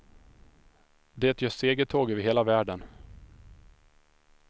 Det gör segertåg över hela världen.